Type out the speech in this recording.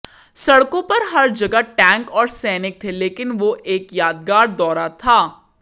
सड़कों पर हर जगह टैंक और सैनिक थे लेकिन वो एक यादगार दौरा था